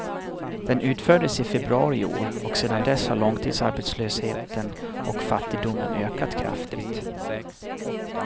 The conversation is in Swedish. Den utfördes i februari i år, och sen dess har långtidsarbetslösheten och fattigdomen ökat kraftigt.